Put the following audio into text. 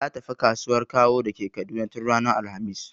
Ta tafi kasuwan Kawo da ke Kaduna tun ranar alhamis.